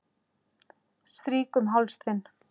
Strýk um háls þinn.